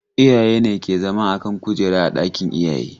Iyaye ne ke zama a kan kujera a ɗakin iyaye.